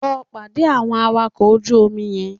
Lọ pàdé àwọn awakọ̀ ojú omi yẹn